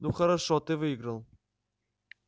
ну хорошо ты выиграл